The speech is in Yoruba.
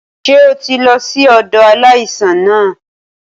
Ṣé o ti lọ sí ọ̀dọ̀ aláìsàn náà?